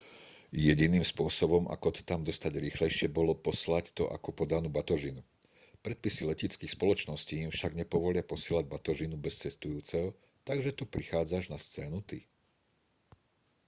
jediným spôsobom ako to tam dostať rýchlejšie bolo poslať to ako podanú batožinu predpisy leteckých spoločností im však nepovolia posielať batožinu bez cestujúceho takže tu prichádzaš na scénu ty